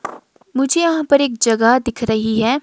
मुझे यहां पर एक जगह दिख रही है।